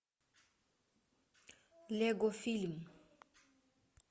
лего фильм